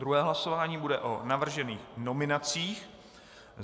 Druhé hlasování bude o navržených nominacích.